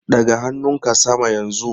Ɗaga hannunka sama yanzu!